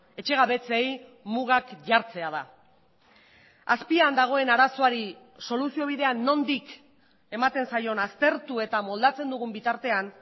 etxegabetzei mugak jartzea da azpian dagoen arazoari soluziobidea nondik ematen zaion aztertu eta moldatzen dugun bitartean